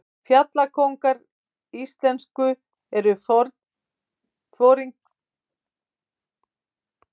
Fjallkóngarnir íslensku eru foringjar gangnamanna, einnig kallaðir leitarforingjar eða gangnastjórar.